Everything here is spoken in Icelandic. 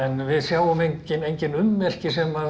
við sjáum engin engin ummerki sem